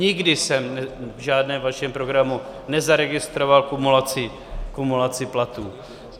Nikdy jsem v žádném vašem programu nezaregistroval kumulaci platů.